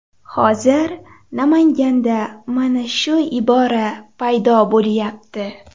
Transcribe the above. Hozir Namanganda mana shu ibora paydo bo‘lyapti.